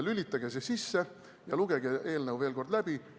Lülitage see sisse ja lugege eelnõu veel kord läbi.